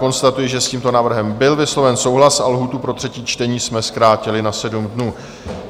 Konstatuji, že s tímto návrhem byl vysloven souhlas a lhůtu pro třetí čtení jsme zkrátili na 7 dnů.